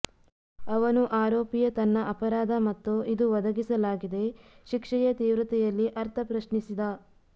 ಅವನು ಆರೋಪಿಯ ತನ್ನ ಅಪರಾಧ ಮತ್ತು ಇದು ಒದಗಿಸಲಾಗಿದೆ ಶಿಕ್ಷೆಯ ತೀವ್ರತೆಯಲ್ಲಿ ಅರ್ಥ ಪ್ರಶ್ನಿಸಿದ